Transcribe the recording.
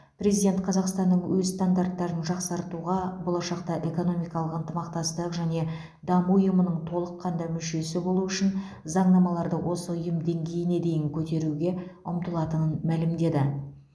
президент қазақстанның өз стандарттарын жақсартуға болашақта экономикалық ынтымақтастық және даму ұйымының толыққанды мүшесі болу үшін заңнамаларды осы ұйым деңгейіне дейін көтеруге ұмтылатынын мәлімдеді